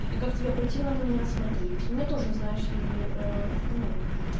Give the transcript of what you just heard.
и как тебя противно на меня смотреть ну у меня тоже знаешь ли ну